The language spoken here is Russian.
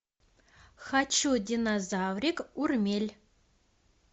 хочу динозаврик урмель